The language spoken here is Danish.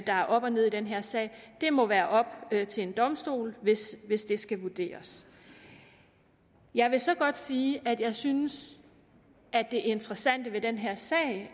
er op og ned i den her sag det må være op til en domstol hvis hvis det skal vurderes jeg vil så godt sige at jeg synes det interessante ved den her sag